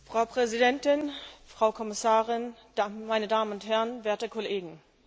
Frau Präsidentin, Frau Kommissarin, meine Damen und Herren, werte Kollegen!